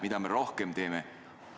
Mida me rohkem teeme?